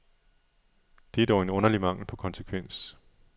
Det er dog en underlig mangel på konsekvens.